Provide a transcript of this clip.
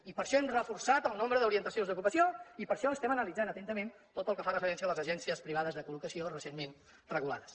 i per això hem reforçat el nombre d’orientacions d’ocupació i per això estem analitzant atentament tot el que fa referència a les agències privades de col·locació recentment regulades